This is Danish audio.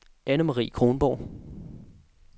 Annemarie Kronborg